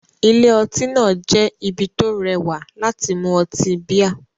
Ilé-ọtí náà jẹ́ ibi tó rẹwà láti mu ọtí bíà